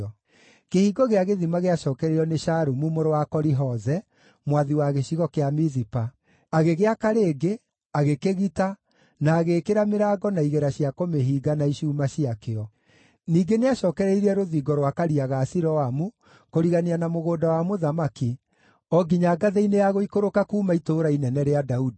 Kĩhingo gĩa Gĩthima gĩacookereirio nĩ Shalumu mũrũ wa Koli-Hoze, mwathi wa gĩcigo kĩa Mizipa. Agĩgĩaka rĩngĩ, agĩkĩgita, na agĩĩkĩra mĩrango na igera cia kũmĩhinga na icuuma ciakĩo. Ningĩ nĩacookereirie rũthingo rwa Karia ga Siloamu kũrigania na Mũgũnda wa Mũthamaki, o nginya ngathĩ-inĩ ya gũikũrũka kuuma Itũũra Inene rĩa Daudi.